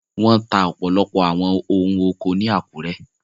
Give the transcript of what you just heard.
Wọ́n ta ọ̀pọ̀lọpọ̀ àwọn ohun oko ni Àkúrẹ́.